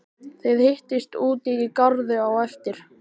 Þið hittist úti í garði á eftir.